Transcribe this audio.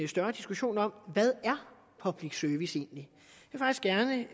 større diskussion om hvad public service egentlig